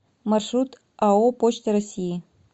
маршрут ао почта россии